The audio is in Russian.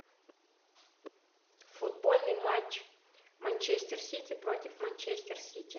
футбольный матч манчестер сити против манчестер сити